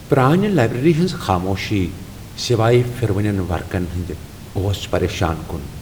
پرانہِ لائبریری ہنزِ خاموشی، سوائے پھِرونین وركن ہندِ ، اوس پریشان کٗن ۔